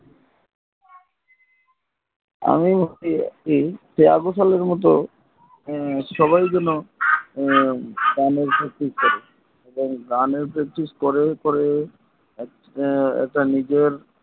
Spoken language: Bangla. আমি ভাবছি শ্রেয়া ঘোষালের মতো সবাই যেন গানের practice করে এবং গানের practice করার পরে একটা নিজের